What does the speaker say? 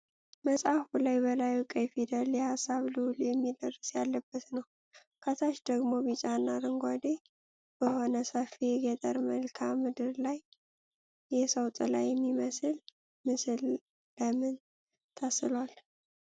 መጽሐፉ ላይ በላዩ ቀይ ፊደል "የሀሳብ ልዑል" የሚል ርዕስ ያለበት ነው። ከታች ደግሞ ቢጫና አረንጓዴ በሆነ ሰፊ የገጠር መልክዓ ምድር ላይ የሰው ጥላ የሚመስል ምስል ለምን ተስሏል?